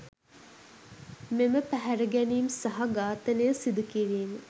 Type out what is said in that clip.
මෙම පැහැරගැනීම් සහ ඝාතනය සිදුකිරීම